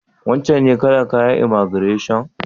Wancen ne kalar kayan imaigireshon?